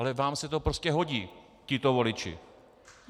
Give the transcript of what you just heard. Ale vám se to prostě hodí, tito voliči.